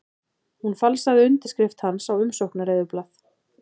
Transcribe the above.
Hún falsaði undirskrift hans á umsóknareyðublað